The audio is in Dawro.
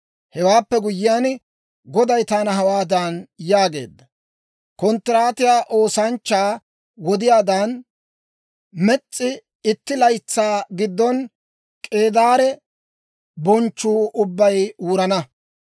Hewaappe guyyiyaan, Goday taana hawaadan yaageedda; «Konttiraatiyaa oosanchchaa wodiyaadan, mes's'i itti laytsaa giddon K'eedaare bonchchuu ubbay wurana.